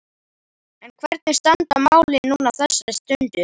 En hvernig standa málin núna á þessari stundu?